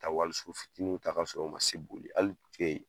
Taa wali so fitininw ta ka sɔrɔ u ma se boli hali